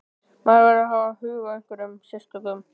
Maður verður að hafa áhuga á einhverjum sérstökum.